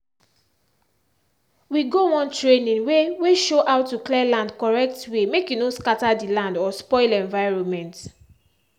we go one training wey wey show how to clear land correct way make e no scatter the land or spoil environment.